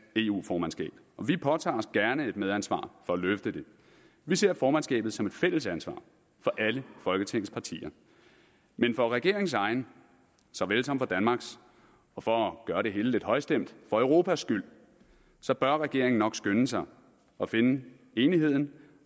eu formandskab og vi påtager os gerne et medansvar for at løfte det vi ser formandskabet som et fælles ansvar for alle folketingets partier men for regeringens egen såvel som for danmarks og for at gøre det hele lidt højstemt for europas skyld bør regeringen nok skynde sig at finde enigheden